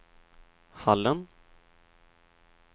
Hallen